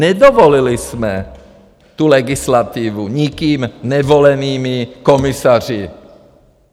Nedovolili jsme tu legislativu nikým nevolenými komisaři.